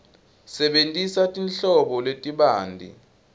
sebentisa tinhlobo letibanti